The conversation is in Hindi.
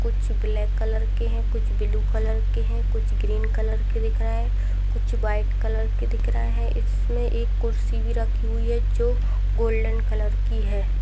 कुछ ब्लैक कलर की है कुछ ब्लू कलर की है कुछ ग्रीन कलर की दिख रही है कुछ वाइट कलर की दिख रहा है इसमे एक कुर्सी भी राखी हुवी है जो गोल्डन कलर की है।